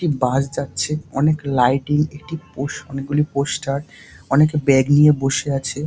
একটি বাস যাচ্ছে। অনেক লাইটিং একটি পোস অনেকগুলি পোস্টার অনেকে ব্যাগ নিয়ে বসে আছে।